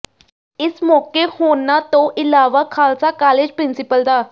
ਇਸ ਮੌਕੇ ਹੋਰਨਾਂ ਤੋਂ ਇਲਾਵਾ ਖ਼ਾਲਸਾ ਕਾਲਜ ਪ੍ਰਿੰਸੀਪਲ ਡਾ